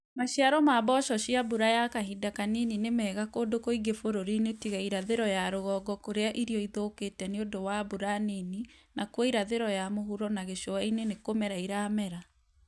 Maciaro ma mboco cia mbura ya kahinda kanini nĩ megakũndũ kũingi bũrũri-ini tiga irathĩro ya rũgongo kũrĩa irio ithũkĩte nĩundũ wa mbura nini nakuo irathĩro ya mũhuro na gĩcũa-inĩ nĩkũmera iramera